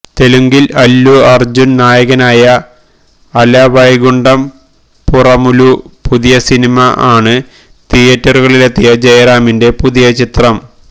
തെലുങ്കില് അല്ലു അര്ജു നായകനായ അല വൈകുണ്ട പുറമുലൂ പുതിയ സിനിമ ആണ് തിയേറ്ററുകളിലെത്തിയ ജയറാമിന്റെ പുതിയ ചിത്രം